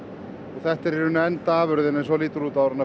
þetta er í rauninni endaafurðin eins og hún lítur út áður en